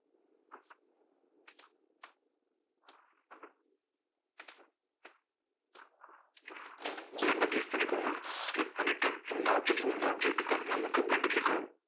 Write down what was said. blend அ click பண்ணிக்கோங்க click பண்ணிட்டு, இந்த object லேந்து இந்த object க்கு நமக்கு blend உ click ஆகும்.